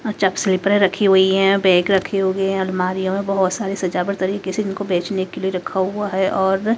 और स्लीपरें रखी हुई हैं बैग रखे हुए हैं अलमारियों में बहुत सारी सजावट तरीके से इनको बेचने के लिए रखा हुआ है और--